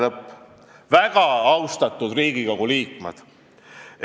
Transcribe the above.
" Lugupeetud Riigikogu liikmed!